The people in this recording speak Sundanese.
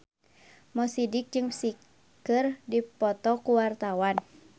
Mo Sidik jeung Psy keur dipoto ku wartawan